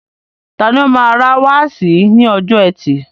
Tani o máa ra wáàsí ní ọjọ́ ẹtì.